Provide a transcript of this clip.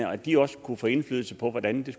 at de også kunne få indflydelse på hvordan